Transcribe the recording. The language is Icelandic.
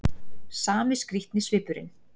Sami skrýtni svipurinn.